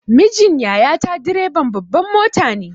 Mijin yaya ta direban babbar mota ne.